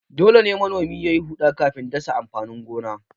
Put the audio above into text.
Dole ne manomi ya yi huɗa kafin dasa amfanin gona.